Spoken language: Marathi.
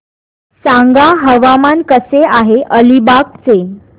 सांगा हवामान कसे आहे अलिबाग चे